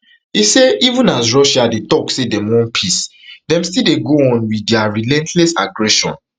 e say even as russia dey took say dem want peace dem still dey go on wit dia relentless aggression